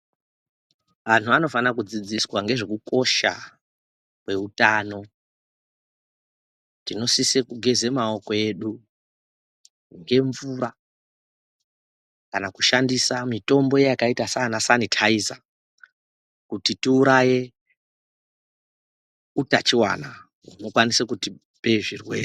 Antu anofanire kudzidziswa ngezvekukosha kweutano. Tinosise kugeze maoko edu ngemvura kana kushandisa mitombo yakaita saanasanithaiza inokwanise kuuraya utachiwona hunokwanise kutipe zvirwere